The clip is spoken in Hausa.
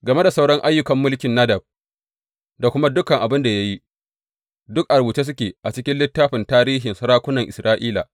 Game da sauran ayyukan mulkin Nadab da kuma dukan abin da ya yi, duk a rubuce suke a cikin littafin tarihin sarakunan Isra’ila.